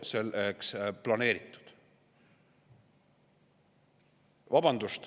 Vabandust!